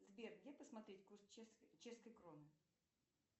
сбер где посмотреть курс чешской кроны